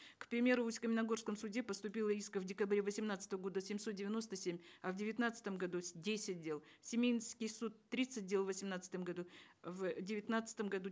к примеру в усть каменогорском суде поступило исков в декабре восемнадцатого года семьсот девяносто семь а в девятнадцатом году десять дел в семейский суд тридцать дел в восемнадцатом году в девятнадцатом году